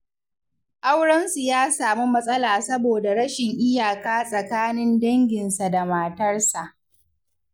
Aurensu ya samu matsala saboda rashin iyaka tsakanin danginsa da matarsa.